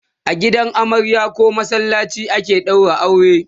a gidan amarya koh masallaci ake ɗaura aure